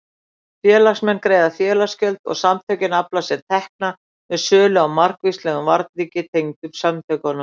Félagsmenn greiða félagsgjöld og samtökin afla sér tekna með sölu á margvíslegum varningi tengdum samtökunum.